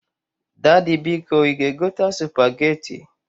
Dady, biko i ga egota Supageti.